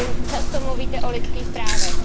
Často mluvíte o lidských právech.